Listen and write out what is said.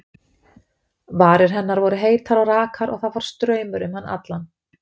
Varir hennar voru heitar og rakar og það fór straumur um hann allan.